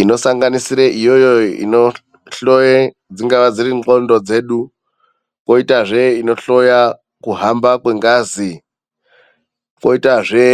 Inosanganisira iyoyo inohloya dziri ngqondo dzedu. Kwoitazve inohloya kuhamba kwengazi. kwoitazve